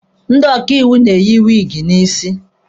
Ndị ọkaiwu na-eyi wiigi n'isi.